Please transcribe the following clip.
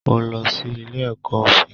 Mo lọ sí ilé ẹkọ òfin.